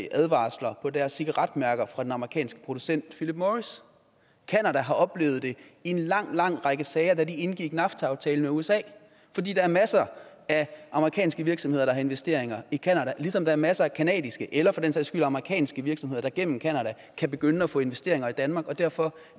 advarsler på deres cigaretmærker fra den amerikanske producent philip morris canada har oplevet det i en lang lang række sager da de indgik nafta aftalen med usa for der er masser af amerikanske virksomheder der har investeringer i canada ligesom der er masser af canadiske eller for den sags skyld amerikanske virksomheder der gennem canada kan begynde at få investeringer i danmark og derfor